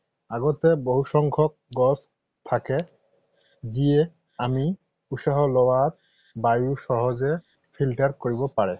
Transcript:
আগতে বহুসংখ্যক গছ থাকে যিয়ে আমি উশাহ লোৱা বায়ু সহজে Filter কৰিব পাৰে।